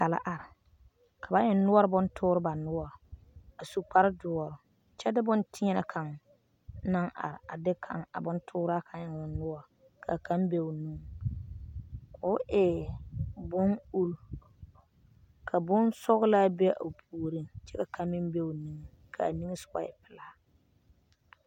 Noba bata la are, ka ba eŋ noɔre bontoore ba noɔre a su kpare-duo kyɛ de bone tēɛnɛ kaŋa naŋ are a de a bontooraa kaŋa eŋ o noɔre ka kaŋa be o nuŋ, k'o e bon-uri ka bon-sɔgelaa be o puoriŋ kyɛ ka kaŋa meŋ be o nuŋ ka a niŋesogɔ e pelaa.